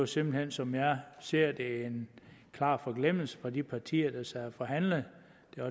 simpelt hen som jeg ser det en klar forglemmelse hos de partier der sad og forhandlede